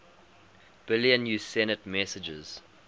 billion usenet messages